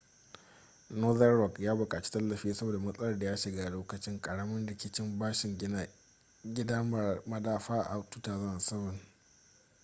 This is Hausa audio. northern rock ya buƙaci tallafi saboda matsalar da ya shiga a lokacin ƙaramin rikicin bashin gina gida marar madafa a 2007